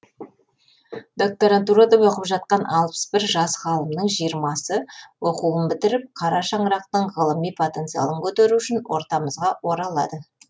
докторантурада оқып жатқан алпыс бір жас ғалымның жиырмасы оқуларын бітіріп қара шаңырақтың ғылыми потенциалын көтеру үшін ортамызға оралады